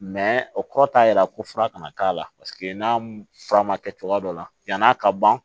o kɔrɔ t'a yira ko fura kana k'a la paseke n'a fura ma kɛ cogoya dɔ la yan'a ka ban